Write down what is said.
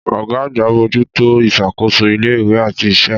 Ọ̀gá àgbà ń bójú tó ìṣàkóso ilé-ìwé àti iṣẹ́.